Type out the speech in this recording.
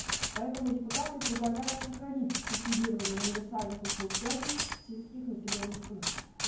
поэтому депутаты предлагают сохранить субсидирование универсальных услуг связи в сельских населенных пунктах